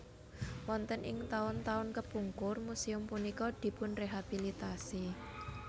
Wonten ing taun taun kepungkur muséum punika dipunrehabilitasi